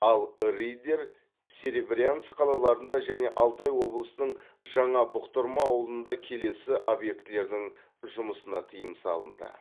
ал риддер серебрянск қалаларында және алтай облысының жаңа бұқтырма ауылында келесі объектілердің жұмысына тыйым салынды